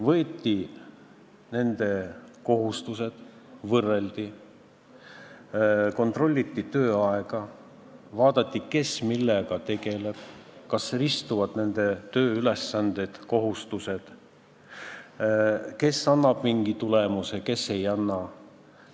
Võeti ette inimeste töökohustused, võrreldi, kontrolliti tööaega, vaadati, kes millega tegeleb, kas ristuvad kellegi tööülesanded-kohustused, kes annab mingi tulemuse, kes ei anna.